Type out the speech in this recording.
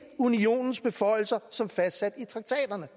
unionens beføjelser som fastsat i traktaterne